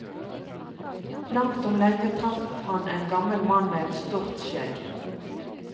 Langt om lenge traff han en gammel mann med et stort skjegg.